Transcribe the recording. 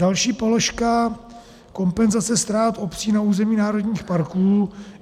Další položka - kompenzace ztrát obcí na území národních parků.